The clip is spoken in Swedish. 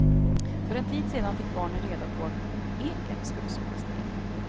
För en tid sedan fick barnen reda på att eken skulle sågas ner.